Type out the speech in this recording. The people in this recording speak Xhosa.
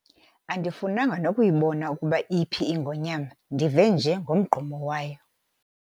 Andifunanga nokuyibona ukuba iphi ingonyama ndive nje ngomgqumo wayo.